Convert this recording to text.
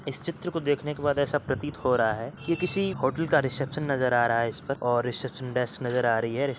इस चित्र को देखने के बाद ऐसा प्रतीत हो रहा है कि किसी होटल का रिसेप्शन आ रहा है इसमें और रिसेप्शन डेस्क नजर आ रही है।